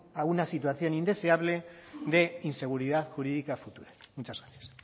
a una situación indeseable de inseguridad jurídica a futuro muchas gracias